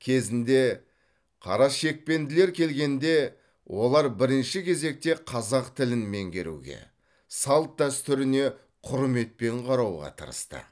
кезінде қарашекпенділер келгенде олар бірінші кезекте қазақ тілін меңгеруге салт дәстүріне құрметпен қарауға тырысты